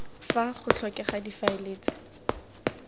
fa go tlhokega difaele tse